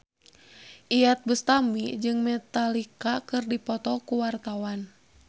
Iyeth Bustami jeung Metallica keur dipoto ku wartawan